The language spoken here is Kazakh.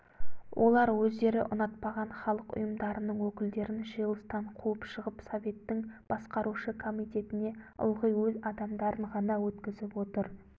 олар өздері ұнатпаған халық ұйымдарының өкілдерін жиылыстан қуып шығып советтің басқарушы комитетіне ылғи өз адамдарын ғана өткізіп отыр